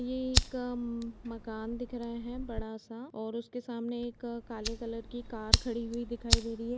ये एक मम मकान दिख रहा है बड़ा सा और उसके सामने एक काले कलर की कार खड़ी हुई दिखाई दे रही है।